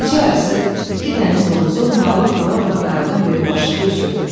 Gecə yarısı iki dəniz donuzu mayallaq vura-vura qayığın böyür başında üzürdü.